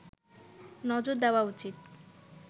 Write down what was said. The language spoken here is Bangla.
নজর দেওয়া উচিৎ